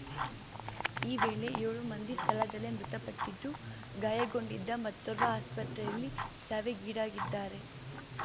ಈ ವೇಳೆ ಏಳು ಮಂದಿ ಸ್ಥಳದಲ್ಲೇ ಮೃತಪಟ್ಟಿದ್ದು ಗಾಯಗೊಂಡಿದ್ದ ಮತ್ತೋರ್ವ ಆಸ್ಪತ್ರೆಯಲ್ಲಿ ಸಾವಿಗೀಡಾಗಿದ್ದಾರೆ